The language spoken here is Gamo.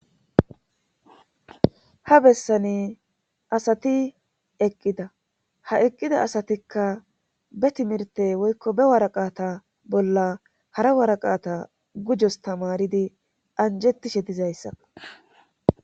Ha bessani asati eqqida ha eqqida asatikka be timirte woykko be waraqata bolla hara waraqata gujos tamaridi anjettishe dizayssa